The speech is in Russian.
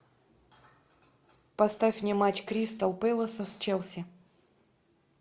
поставь мне матч кристал пэласа с челси